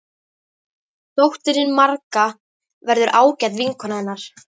Dóttirin Marga verður ágæt vinkona hennar.